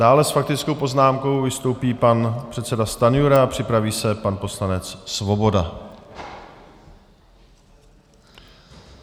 Dále s faktickou poznámkou vystoupí pan předseda Stanjura a připraví se pan poslanec Svoboda.